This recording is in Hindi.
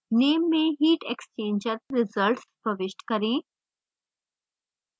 name में heat exchanger – results प्रविष्ट करें